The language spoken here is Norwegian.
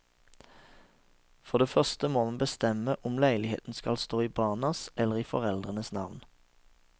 For det første må man bestemme om leiligheten skal stå i barnas eller i foreldrenes navn.